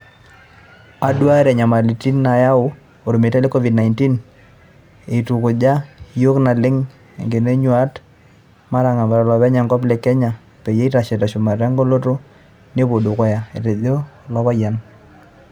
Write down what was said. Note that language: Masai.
"Aduuare nyamalitin nayaua olmeitai le Covid-19, eitukuja iyiook naleng enkeno o yieunat naatangamatia ilopeny enkop le Kenya peyie eitashe teshumata egoloto nepuo dukuya," etejo ilopayian.